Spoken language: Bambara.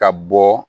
Ka bɔ